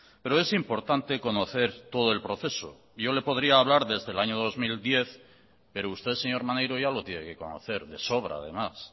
pero es importante conocer todo el proceso yo le podría hablar desde el año dos mil diez pero usted señor maneiro ya lo tiene que conocer de sobra además